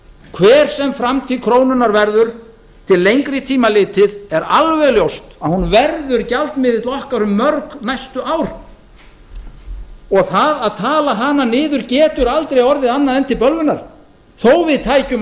hver sem framtíð krónunnar verður til lengri tíma litið er alveg ljóst að hún verður gjaldmiðill okkar um mörg næstu ár og það að tala hana niður getur aldrei orðið annað en til bölvunar þó við tæki